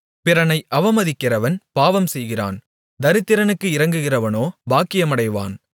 பிறனை அவமதிக்கிறவன் பாவம்செய்கிறான் தரித்திரனுக்கு இரங்குகிறவனோ பாக்கியமடைவான்